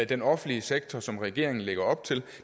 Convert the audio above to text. den offentlige sektor som regeringen lægger op til